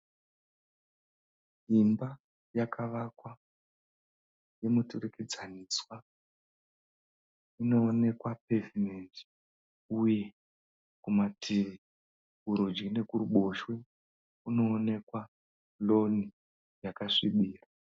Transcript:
Imba yakavakwa yemuturikidzaniswa. Inoonekwa pevhumendi uye kumativi kurudyi nekuruboshwe kunoonekwa roni yakasvibira.